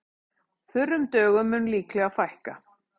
Þurrum dögum mun líklega fækka